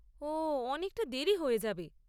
ওহ অনেকটা দেরী হয়ে যাবে।